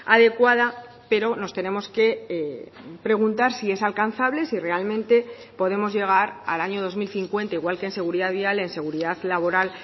adecuada pero nos tenemos que preguntar si es alcanzable si realmente podemos llegar al año dos mil cincuenta igual que en seguridad vial en seguridad laboral